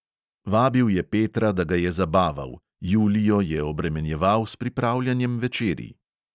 Vabil je petra, da ga je zabaval, julijo je obremenjeval s pripravljanjem večerij.